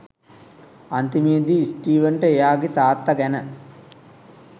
අන්තිමේදී ස්ටීවන්ට එයාගේ තාත්තා ගැන